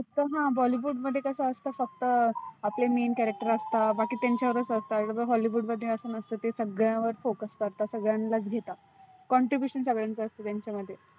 हा bollywood मध्ये कसं असतं फक्त आपले main character असतात. मग ते त्याच्यावरच असतं. hollywood मध्ये असं नसतं ते सगळ्यावर focus करता सगळ्यांनाच घेता. contribution सगळ्यांच असतं त्याच्यामध्ये.